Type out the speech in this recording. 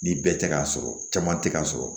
Ni bɛɛ tɛ ka sɔrɔ caman tɛ k'a sɔrɔ